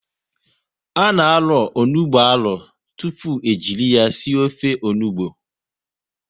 A na arọ onugbu arọ tụpụ e jiri ya sie ofe onugbu